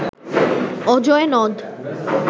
অজয় নদ